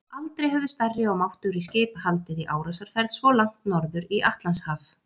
Aldrei höfðu stærri og máttugri skip haldið í árásarferð svo langt norður í Atlantshaf.